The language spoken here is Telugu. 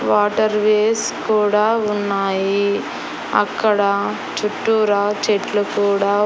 వాటర్ వేస్ కూడా ఉన్నాయి అక్కడ చుట్టూరా చెట్లు కూడా--